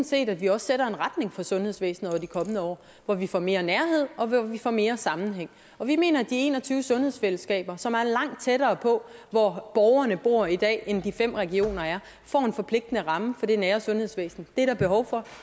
set at vi også sætter en retning for sundhedsvæsenet over de kommende år hvor vi får mere nærhed og hvor vi får mere sammenhæng vi mener at de en og tyve sundhedsfællesskaber som er langt tættere på hvor borgerne bor i dag end de fem regioner er får en forpligtende ramme for det nære sundhedsvæsen det er der behov for